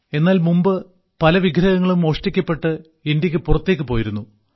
എന്നാൽ മുമ്പ് പല വിഗ്രഹങ്ങളും മോഷ്ടിക്കപ്പെട്ട് ഇന്ത്യക്ക് പുറത്തേക്ക് പോയിരുന്നു